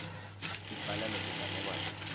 sibhala netinganekwane